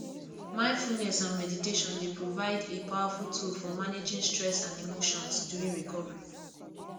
mindfulness and meditation dey provide a powerful tool for managing stress and emotions during recovery